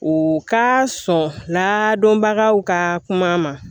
U ka sɔn ladɔnbagaw ka kuma a ma